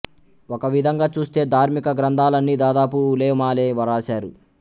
ఒక విధంగా చూస్తే ధార్మిక గ్రంథాలన్నీ దాదాపు ఉలేమాలే వ్రాశారు